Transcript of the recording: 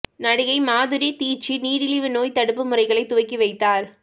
நடிகை மாதுரி தீட்சித் நீரிழிவு நோய் தடுப்பு முறைகளை துவக்கி வைத்தார்